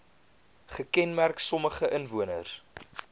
gekenmerk sommige inwoners